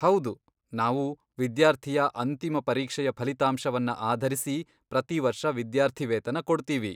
ಹೌದು, ನಾವು ವಿದ್ಯಾರ್ಥಿಯ ಅಂತಿಮ ಪರೀಕ್ಷೆಯ ಫಲಿತಾಂಶವನ್ನ ಆಧರಿಸಿ ಪ್ರತಿವರ್ಷ ವಿದ್ಯಾರ್ಥಿವೇತನ ಕೊಡ್ತೀವಿ.